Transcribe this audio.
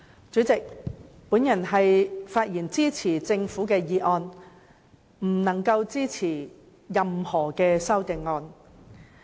主席，我發言支持政府的《廣深港高鐵條例草案》，無法支持任何修正案。